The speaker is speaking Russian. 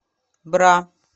бра